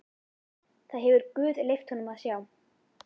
Það hefur guð leyft honum að sjá.